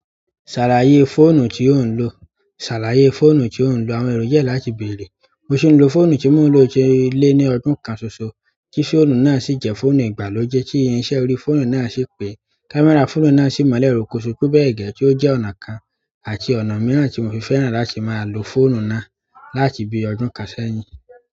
"Ṣàlàyé fóònù tí ó ń lò". Ṣàlàyé fóònù tí ò ń lò. Àwọn èrò jẹ́ láti bèèrè. Mo ṣì ń lo fóònù tí mo ló ṣe lé ní ọdún kan ṣoṣo, tí fóònù náà sì jẹ́ fóònù ìgbàlódé tí iṣẹ́ orí fóònù náà ṣì pé. Kámẹ́rà fóònù náà sì mọ́lẹ̀ ròkoṣòó pẹ́bẹ́ẹ̀rẹ́ tí ó jẹ́ ọ̀nà kan àti ọ̀nà mìíràn tí mo fi fẹ́ràn láti máa lo fóònù náà láti bí ọdún kan sẹ́yìn.